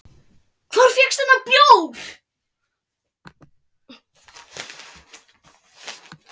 Hvar fékkstu þennan bjór?